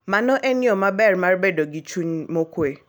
Mano en yo maber mar bedo gi chuny mokuwe.